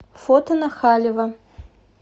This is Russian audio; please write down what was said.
фото на халева